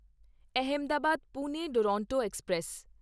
Ahmedabad Pune Duronto express